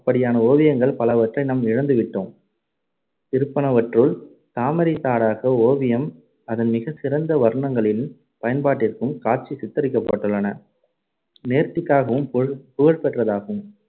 அப்படியான ஓவியங்கள் பலவற்றை நாம் இழந்துவிட்டோம் இருப்பனவற்றுள் தாமரைத் தடாக ஓவியம் அதன் மிகச் சிறந்த வர்ணங்களின் பயன்பாட்டிற்கும் காட்சி சித்தரிக்கப்பட்டுள்ள நேர்த்திக்காகவும் புகழ்~ புகழ்பெற்றதாகும்.